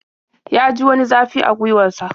Ya ji wani zafi a gwiwar sa.